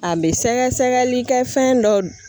A bɛ sɛgɛsɛgɛli kɛ fɛn dɔ